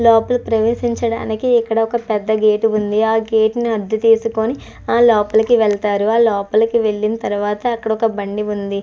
లోపల ప్రవేశించడానికి ఇక్కడ ఒక పెద్ద గేటు ఉంది ఆ గేటు ని హద్దు తీసుకొని ఆ లోపలికి వెళ్తారు ఆ లోపలికి వెళ్లిన తర్వాత అక్కడ ఒక బండి ఉంది.